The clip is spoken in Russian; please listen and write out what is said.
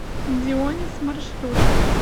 дионис маршрут